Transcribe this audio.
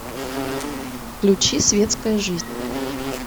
включи светская жизнь